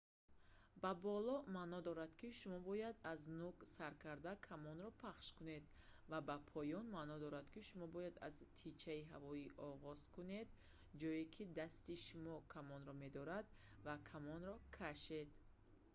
ба боло» маъно дорад ки шумо бояд аз нӯг сар карда камонро пахш кунед ва «ба поён» маъно дорад ки шумо бояд аз тичаи ҳавоӣ оғоз кунед ҷое ки дасти шумо камонро медорад ва камонро кашед